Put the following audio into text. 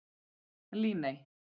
Líney